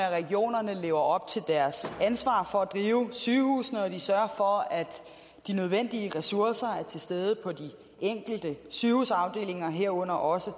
at regionerne lever op til deres ansvar for at drive sygehusene og at de sørger for at de nødvendige ressourcer er til stede på de enkelte sygehusafdelinger herunder også